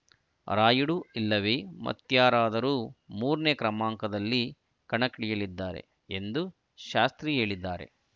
ರಾಯುಡು ಇಲ್ಲವೇ ಮತ್ತ್ಯಾರಾದರೂ ಮೂರನೇ ಕ್ರಮಾಂಕದಲ್ಲಿ ಕಣಕ್ಕಿಳಿಯಲಿದ್ದಾರೆ ಎಂದು ಶಾಸ್ತ್ರಿ ಹೇಳಿದ್ದಾರೆ